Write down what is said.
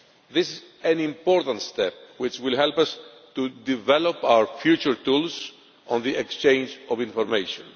This is an important step which will help us to develop our future tools on the exchange of information.